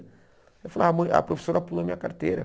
Eu falava, mãe a professora pulou a minha carteira.